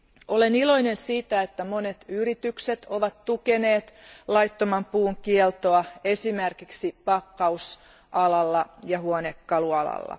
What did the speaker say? Olen iloinen siitä, että monet yritykset ovat tukeneet laittoman puun kieltoa, esimerkiksi pakkaus ja huonekalualalla.